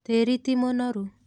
Tĩri ti mũnoru.